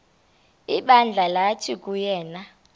ibandla lathi nguyena